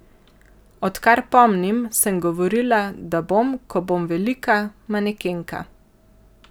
Odkar pomnim, sem govorila, da bom, ko bom velika, manekenka.